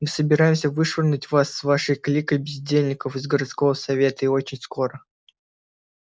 мы собираемся вышвырнуть вас с вашей кликой бездельников из городского совета и очень скоро